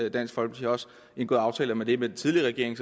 i dansk folkeparti også indgået aftaler med den tidligere regering